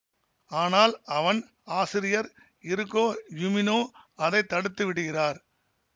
ஆனால் அவன் ஆசிரியர் இருகோ யுமினோ அதை தடுத்து விடுகிறார்